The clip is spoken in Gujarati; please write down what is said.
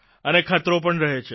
અને ખતરો પણ રહે છે